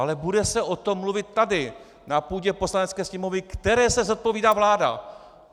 Ale bude se o tom mluvit tady na půdě Poslanecké sněmovny, které se zodpovídá vláda!